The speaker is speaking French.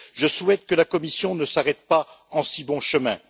Je souhaite que la Commission ne s'arrête pas en si bon chemin.